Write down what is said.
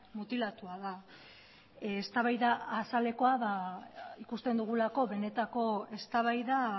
mutilatua da eztabaida azalekoa da ikusten dugulako benetako eztabaida